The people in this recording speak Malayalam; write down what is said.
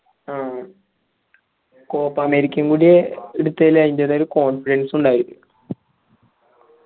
ആ കോപ്പ് അമേരിക്കയ്യും കൂടിയേ എടുത്തേൽ അയിന്റേതായ confidence ഉണ്ടായത്